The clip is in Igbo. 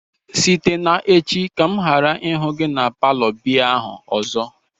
site n'echi ka m ghara ihu gi na palo biya ahu ozo!